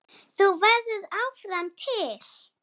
Þú verður áfram til.